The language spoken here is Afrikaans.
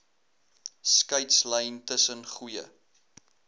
skeidslyn tussen goeie